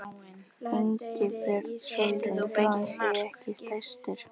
Ingibjörg Sólrún: Þó hann sé ekki stærstur?